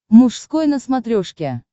мужской на смотрешке